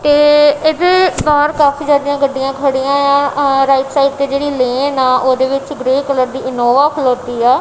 ਤੇ ਇਹਦੇ ਬਾਹਰ ਕਾਫੀ ਜਿਆਦਾ ਹੀ ਗੱਡੀਆਂ ਖੜੀਆਂ ਯਾਂ ਆਹ ਰਾਇਟ ਸਾਈਡ ਤੇ ਜੇਹੜੀ ਲੇਨ ਆ ਓਹਦੇ ਵਿੱਚ ਗਰੇ ਕਲਰ ਦੀ ਇਨੋਵਾ ਖਲੋਤੀ ਹੈ।